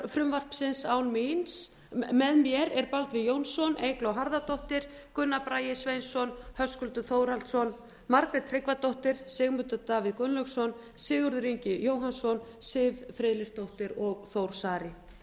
frumvarpsins með mér er baldvin jónsson eygló harðardóttir gunnar bragi sveinsson höskuldur þórhallsson margrét tryggvadóttir sigmundur davíð gunnlaugsson sigurður ingi jóhannsson siv friðleifsdóttir og þór saari